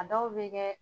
A dɔw bɛ kɛ